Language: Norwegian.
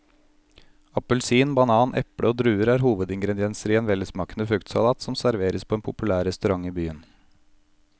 Appelsin, banan, eple og druer er hovedingredienser i en velsmakende fruktsalat som serveres på en populær restaurant i byen.